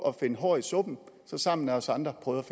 at finde hår i suppen sammen med os andre prøvede